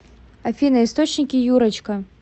афина источники юрочка